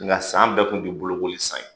Nka san bɛɛ kun ti bolokoli san ye.